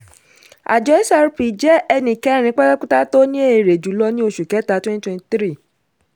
àjọ xrp jẹ́ ẹni kẹrin pátápátá tó ní èrè jùlọ ní oṣù kẹta twenty twenty three.